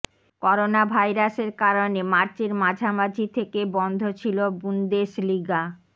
corona ভাইরাসের কারণে মার্চের মাঝামাঝি থেকে বন্ধ ছিল বুন্দেশলিগা